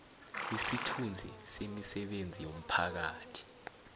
isithunzi semisebenzi yomphakathi